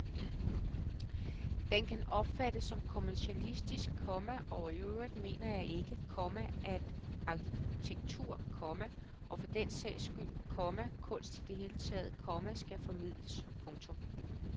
Den kan opfattes som kommercialistisk, komma og iøvrigt mener jeg ikke, komma at arkitektur, komma og for den sags skyld, komma kunst i det hele taget, komma skal formidles. punktum